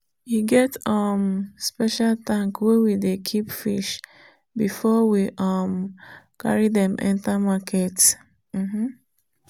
e get um special tank wey we dey keep fish before we um carry them enter market. um